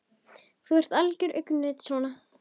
Þú ert algert öngvit svona!